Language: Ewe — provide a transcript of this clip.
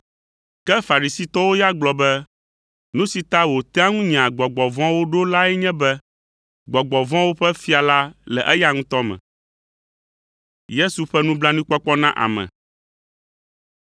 Ke Farisitɔwo ya gblɔ be, “Nu si ta wòtea ŋu nyaa gbɔgbɔ vɔ̃woe ɖo lae nye be, gbɔgbɔ vɔ̃wo ƒe fia la le eya ŋutɔ me.”